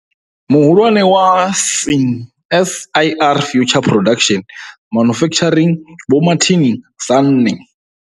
Muhulwane wa CSIR Future Production Manufacturing, Vho Martin Sanne.